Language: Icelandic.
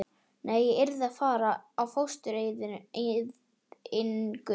Nei, ég yrði að fara í fóstureyðingu.